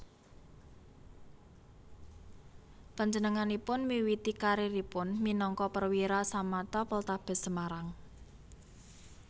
Panjenenganipun miwiti kariéripun minangka Perwira Samapta Poltabes Semarang